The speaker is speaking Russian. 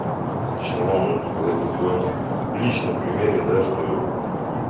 лично вам могу сказать на своём личном примере да что